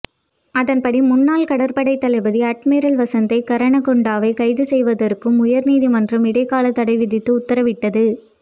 அதன்படி முன்னாள் கடற்படைத் தளபதி அட்மிரல் வசந்த கரன்னகொடவை கைது செய்வதற்கு உயர் நீதிமன்றம் இடைக்கால தடை விதித்து உத்தரவிட்டது